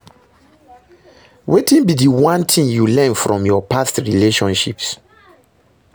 Wetin be di one thing you learn from your past relationships?